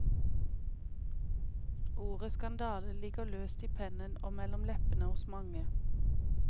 Ordet skandale ligger løst i pennen og mellom leppene hos mange.